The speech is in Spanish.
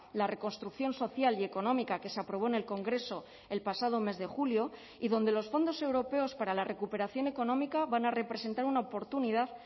la reconstrucción social y económica que se aprobó en el congreso el pasado mes de julio y donde los fondos europeos para la recuperación económica van a representar una oportunidad